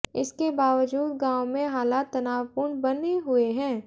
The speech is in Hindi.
इसके बावजूद गांव में हालात तनावपूर्ण बने हुए हैं